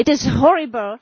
It is horrible.